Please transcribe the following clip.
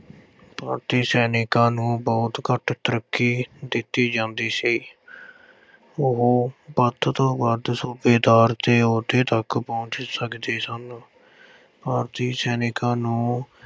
ਭਾਰਤੀ ਸੈਨਿਕਾਂ ਨੂੰ ਬਹੁਤ ਘੱਟ ਤਰੱਕੀ ਦਿੱਤੀ ਜਾਂਦੀ ਸੀ ਉਹ ਵੱਧ ਤੋਂ ਵੱਧ ਸੂਬੇਦਾਰ ਦੇ ਅਹੁਦੇ ਤੱਕ ਪਹੁੰਚ ਸਕਦੇ ਸਨ ਭਾਰਤੀ ਸੈਨਿਕਾਂ ਨੂੰ